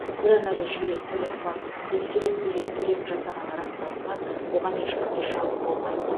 бұдан әрі жүйе төлем фактісін тексереді егер төлем жасағаны расталса оған ешқандай шағым болмайды